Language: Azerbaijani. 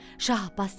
Şah Abbas dedi: